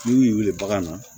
N'u y'u wili bagan na